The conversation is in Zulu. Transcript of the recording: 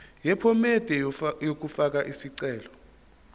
yephomedi yokufaka isicelo